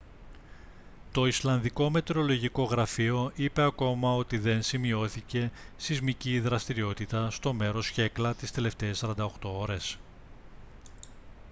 το ισλανδικό μετεωρολογικό γραφείο είπε ακόμα ότι δεν σημειώθηκε σεισμική δραστηριότητα στο μέρος χέκλα τις τελευταίες 48 ώρες